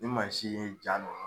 Ni mansin ye ja ninnu